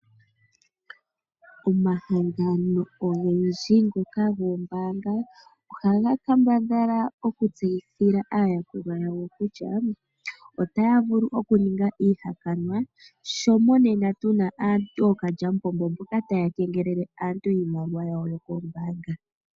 Omahangano ogendji ngoka goombaanga ohaga kambadhala oku tseyithila aayakulwa yawo kutya, otaya vulu okuninga iihakanwa sho mo nena tuna aantu ookandjamupombo mboka taya kengelele aantu iimaliwa yawo yokoombaanga.